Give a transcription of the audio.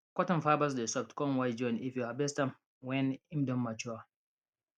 cotton fibres dey soft con white join if you harvest am wen im don mature